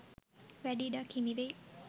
වැඩි ඉඩක් හිමි වෙයි.